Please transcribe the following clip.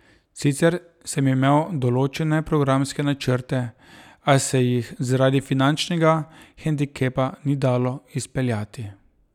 Sicer sem imel določene programske načrte, a se jih zaradi finančnega hendikepa ni dalo izpeljati.